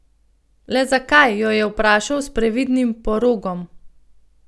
Le zakaj, jo je vprašal, s previdnim porogom.